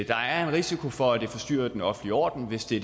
der er en risiko for at det forstyrrer den offentlige orden hvis det